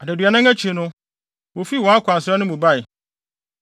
Adaduanan akyi no, wofii wɔn akwansra no mu bae.